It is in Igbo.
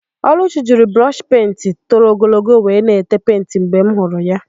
Ọlụchi jiri brọshị penti toro ogologo wee na-ete penti mgbe m hụrụ ya.